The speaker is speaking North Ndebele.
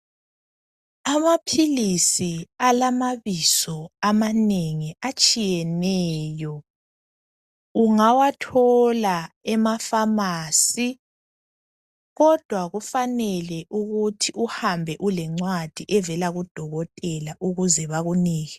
Amaphilisi alamabizo amanengi atshiyeneyo ,ungawathola emaFamasi kodwa kufanele ukuthi uhambe lencwadi evela kudokotela ukuze bakunike.